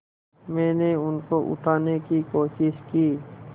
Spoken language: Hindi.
मैंने उनको उठाने की कोशिश की